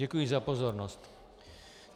Děkuji za pozornost.